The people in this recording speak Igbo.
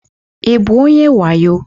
Ị bụ onye wayo?